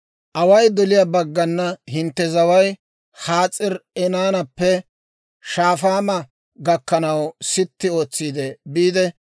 « ‹Away doliyaa baggana hintte zaway Has'aari-Enaanappe Shafaama gakkanaw sitti ootsi biide,